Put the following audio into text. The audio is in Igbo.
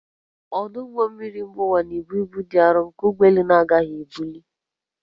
Ọdụ ụgbọ mmiri mba ụwa na-ebu ibu dị arọ nke ụgbọ elu na-agaghị ebuli